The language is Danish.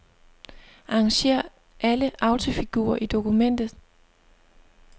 Arrangér alle autofigurer i dokumentet.